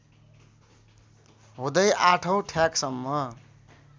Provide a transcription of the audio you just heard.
हुँदै ८ औँ ठ्याकसम्म